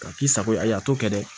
Ka k'i sago ye ayi a t'o kɛ dɛ